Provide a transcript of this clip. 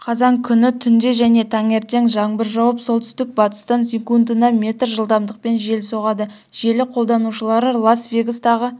қазан күні түнде және таңертең жаңбыр жауып солтүстік-батыстан секундына метр жылдамдықпен жел соғады желі қолданушылары лас-вегастағы